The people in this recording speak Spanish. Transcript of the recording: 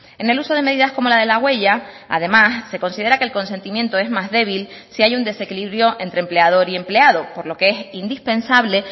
en el uso de medidas como la de la huella además se considera que el consentimiento es más débil si hay un desequilibrio entre empleador y empleado por lo que es indispensable